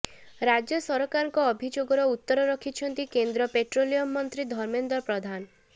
ରାଜ୍ୟ ସରକାରଙ୍କ ଅଭିଯୋଗର ଉତ୍ତର ରଖିଛନ୍ତି କେନ୍ଦ୍ର ପେଟ୍ରୋଲିୟମ୍ ମନ୍ତ୍ରୀ ଧର୍ମେନ୍ଦ୍ର ପ୍ରଧାନ